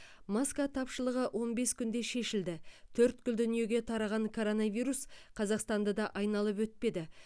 маска тапшылығы он бес күнде шешілді төрткіл дүниеге тараған коронавирус қазақстанды да айналып өтпеді